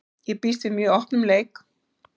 Ég býst við mjög opnum leik.